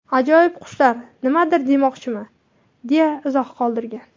Ajoyib qushlar nimadir demoqchimi?”, deya izoh qoldirgan.